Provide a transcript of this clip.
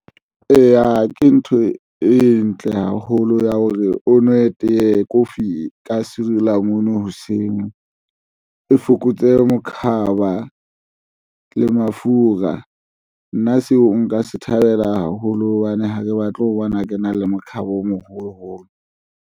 Eya, ke ntho e ntle haholo ya hore o nwe tee kofi ka sirilamunu, hoseng o fokotse mokhaba le mafura nna seo nka se thabela haholo hobane ha ke batle ho bona ke na le mokhaba o moholo holo.